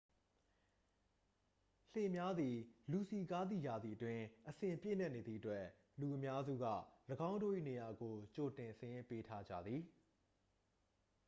လှေများသည် လူစည်ကားသည့်ရာသီအတွင်း အစဉ်ပြည့်နှက်နေသည့်အတွက် လူအများစုက ၎င်းတို့၏ နေရာကို ကြိုတင်စာရင်းပေးထားကြသည်။